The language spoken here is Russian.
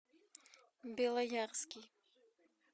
белоярский